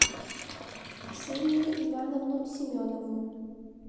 ксению ивановну семенову